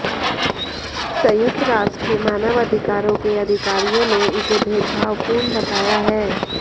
संयुक्त राष्ट्र के मानव अधिकारों के अधिकारियों ने इसे भेदभावपूर्ण बताया है